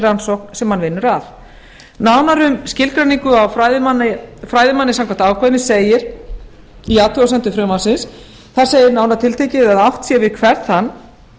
rannsókn sem hann vinnur að nánar um skilgreiningu á fræðimanni samkvæmt ákvæðinu segir í athugasemdum frumvarpsins að átt sé við hvern þann